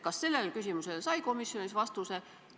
Kas nendele küsimustele sai komisjon vastused?